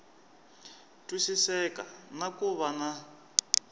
twisiseka na ku va na